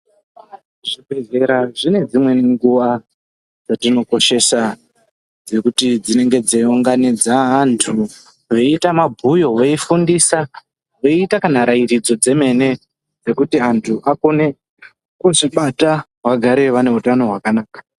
Zvobhedhlera zvine dzimweni nguwa dzetinokoshesa dzekuti dzinenge dzeiunganidza antu veiita mabhuyo veifundisa veiita kana rairidzo dzemene Dzekuti vantu vakone kuzvibata vagare vane utano hwakanaka.